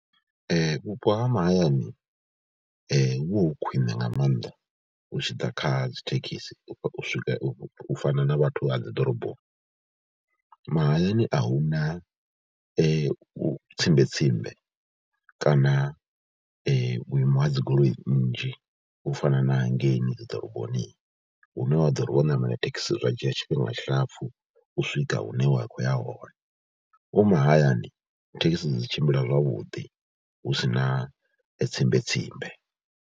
Vhupo ha mahayani hu vha hu khwine nga maanḓa hu tshi ḓa kha dzi thekhisi u swika, u fana na vhathu ha dzi ḓoroboni. Mahayani a hu na u tsimbe tsimbe kana vhuimo ha dzi goloi nnzhi u fana hangeni dzi ḓoroboni hune wa ḓo ri wo ṋamela thekhisi zwa dzhia tshifhinga tshilapfhu u swika hune wa khou ya hone. U mahayani thekhisi dzi tshimbila zwavhuḓi hu si na tsimbe tsimbe.